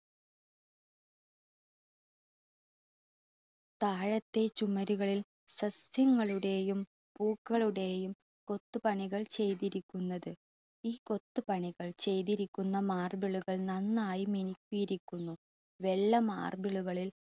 താഴത്തെ ചുവരുകളിൽ സസ്യങ്ങളുടെയും പൂക്കളുടെയും കൊത്തുപണികൾ ചെയ്തിരിക്കുന്നത്. ഈ കൊത്തുപണികൾ ചെയ്തിരിക്കുന്ന marble കൾ നന്നായി മിനുക്കിയിരിക്കുന്നു. വെള്ള marble കളിൽ